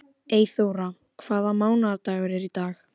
Haki, hver er dagsetningin í dag?